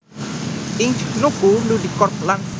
Inc nuku Ludicorp lan Flickr